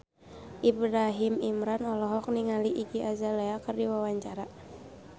Ibrahim Imran olohok ningali Iggy Azalea keur diwawancara